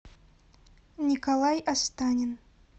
николай астанин